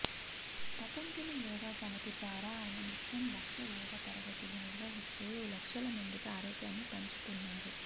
పతంజలి యోగ సమితి ద్వారా ఆయన నిత్యం లక్ష యోగ తరగతులు నిర్వహిస్తూ లక్షల మందికి ఆరోగ్యాన్ని పంచుతున్నారు